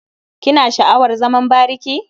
Kina sha'awar zaman bariki?